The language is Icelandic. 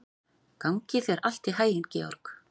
Gangi þér allt í haginn, Georg.